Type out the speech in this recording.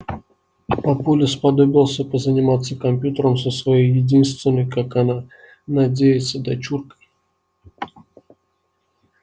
папуля сподобился позаниматься компьютером со своей единственной как она надеется дочуркой